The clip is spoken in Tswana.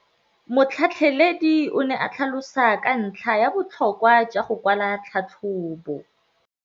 Motlhatlheledi o ne a tlhalosa ka ntlha ya botlhokwa jwa go kwala tlhatlhôbô.